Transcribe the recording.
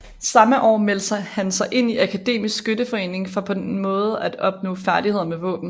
Samme år meldte han sig ind i Akademisk Skytteforening for på den måde at opnå færdigheder med våben